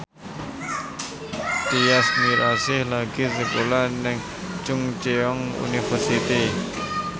Tyas Mirasih lagi sekolah nang Chungceong University